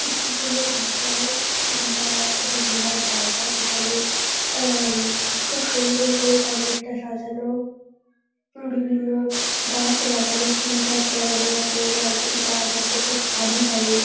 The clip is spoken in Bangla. একটি কোন রিসোর্ট কিংবা কোন ঘোরার জায়গা যেখানে আহ উম খুব সুন্দর করে চারিদিকটা সাজানো বিভিন্ন গাছ লাগানো ফুল গাছ লাগানো আছে নারকেল গাছ আছে খুব সারিভাবে ।